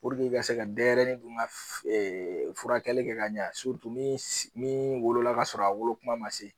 Puruke i dun ka se ka denyɛrɛ dun ka ɛ ɛ furakɛ kɛ ka ɲɛ surutu min wolola k'a sɔrɔ a wolo kuma ma se